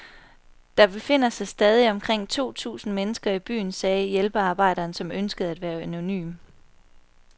Der befinder sig stadig omkring to tusind mennesker i byen, sagde hjælpearbejderen, som ønskede at være anonym.